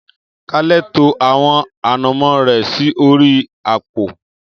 Kale to àwọn ànàmó rẹ̀ sí orí àpò